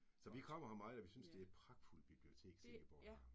Så vi kommer her meget, og vi synes det et pragtfuldt bibliotek Silkeborg har